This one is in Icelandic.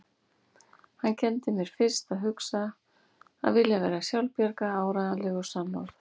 Hann kenndi mér fyrst að hugsa, að vilja vera sjálfbjarga, áreiðanleg og sannorð.